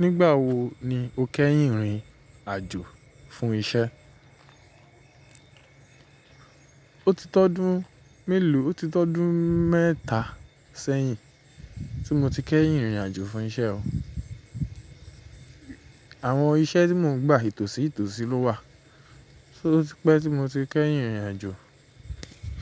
Nígbà wo ni o kẹ́yìn rìn àjò fún isẹ́? O ti tọ́dún mélòó, o ti tọ́dún mẹ́ta sẹ́yìn tí mo ti kẹ́yìn rìnrìn àjò fún iṣẹ́ o. Àwọn iṣẹ́ tí mò ń gbà ìtòsí ìtòsí ló wà. So ọ̀ tí pé tí mo ti kẹ́yìn rìnrìn àjò